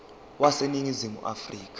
wase ningizimu afrika